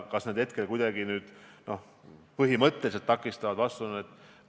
Kas need hetkel kuidagi põhimõtteliselt midagi takistavad?